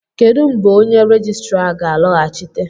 kedụ mgbe onye rejistra a ga-alọghachite?